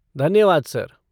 धन्यवाद सर।